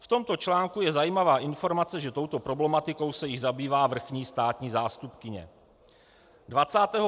V tomto článku je zajímavá informace, že touto problematikou se již zabývá vrchní státní zástupkyně.